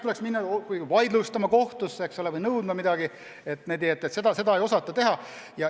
Tuleks minna asja vaidlustama kohtusse, aga seda ei osata teha.